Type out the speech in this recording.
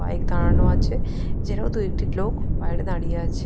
Bike দাঁড়ানো আছে। এছাড়াও দু একটি লোক বাইরে দাঁড়িয়ে আছে।